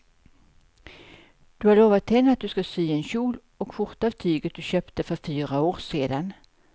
Du har lovat henne att du ska sy en kjol och skjorta av tyget du köpte för fyra år sedan.